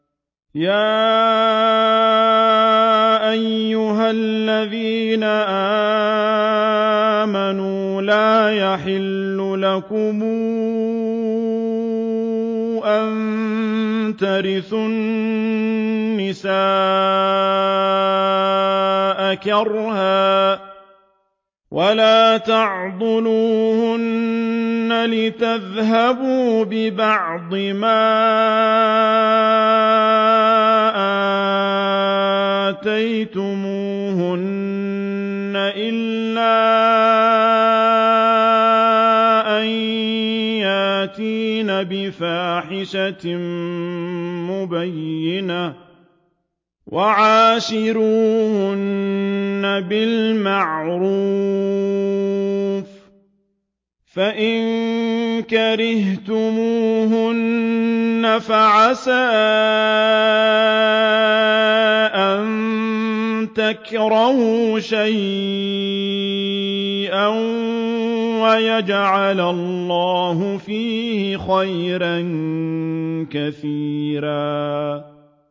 يَا أَيُّهَا الَّذِينَ آمَنُوا لَا يَحِلُّ لَكُمْ أَن تَرِثُوا النِّسَاءَ كَرْهًا ۖ وَلَا تَعْضُلُوهُنَّ لِتَذْهَبُوا بِبَعْضِ مَا آتَيْتُمُوهُنَّ إِلَّا أَن يَأْتِينَ بِفَاحِشَةٍ مُّبَيِّنَةٍ ۚ وَعَاشِرُوهُنَّ بِالْمَعْرُوفِ ۚ فَإِن كَرِهْتُمُوهُنَّ فَعَسَىٰ أَن تَكْرَهُوا شَيْئًا وَيَجْعَلَ اللَّهُ فِيهِ خَيْرًا كَثِيرًا